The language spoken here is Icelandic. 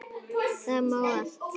Það mál allt.